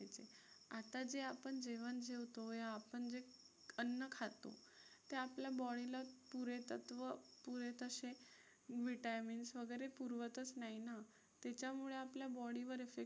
आता जे आपण जेवण जेवतो हे आपण जे अन्न खातो ते आपल्या body ला पुरेतत्त्व पुरे तशे vitamins वगैरे पुरवतच नाही ना. तेच्यामुळे आपल्या body वर effect